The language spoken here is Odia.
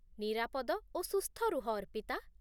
ନିରାପଦ ଓ ସୁସ୍ଥ ରୁହ, ଅର୍ପିତା